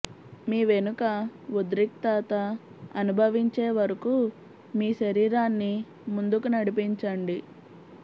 మీ వెనుక ఉద్రిక్తత అనుభవించే వరకు మీ శరీరాన్ని ముందుకు నడిపించండి